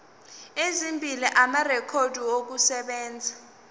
ezimbili amarekhodi okusebenza